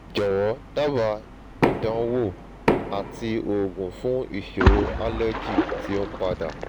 jọwọ daba ìdánwò àti oògùn fún isoro allergy ti o n pada